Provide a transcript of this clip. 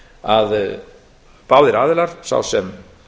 að báðir aðilar sá sem